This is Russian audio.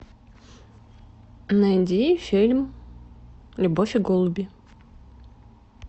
найди фильм любовь и голуби